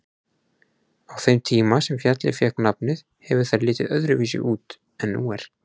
Á þeim tíma sem fjallið fékk nafnið hefur það litið öðruvísi út en nú er.